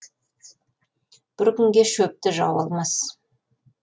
бір күнге шөпті жау алмас